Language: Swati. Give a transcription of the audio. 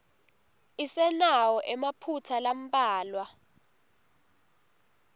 isenawo emaphutsa lambalwa